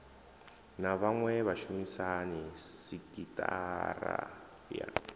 na vhaṅwe vhashumisani sekithara ya